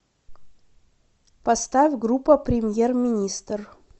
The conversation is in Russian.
поставь группа премьер министр